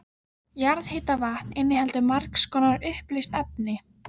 Jarðhitavatn inniheldur margs konar uppleyst efni.